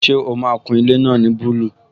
Ṣé o máa kun ilé náà ní búlù?